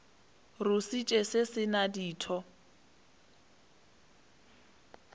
rusitše se se na ditho